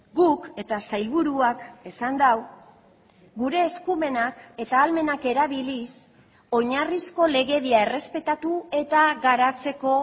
guk eta sailburuak esan du gure eskumenak eta ahalmenak erabiliz oinarrizko legedia errespetatu eta garatzeko